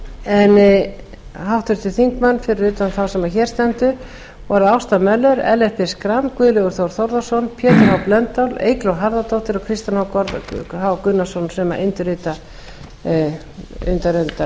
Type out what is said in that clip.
en háttvirtur þingmaður fyrir utan þá sem hér stendur voru ásta möller ellert b schram guðlaugur þór þórðarson pétur h blöndal eygló harðardóttir og kristinn h gunnarsson sem undirrita